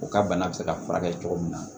U ka bana bɛ se ka furakɛ cogo min na